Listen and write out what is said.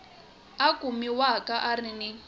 a kumiwaka a ri ni